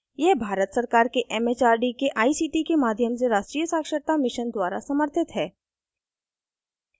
यह भारत सरकार के it it आर डी के आई सी टी के माध्यम से राष्ट्रीय साक्षरता mission द्वारा समर्थित है